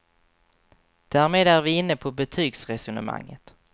Därmed är vi inne på betygsresonemanget.